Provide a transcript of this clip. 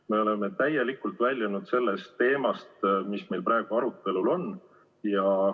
Me oleme täielikult väljunud sellest teemast, mis meil praegu arutelul on.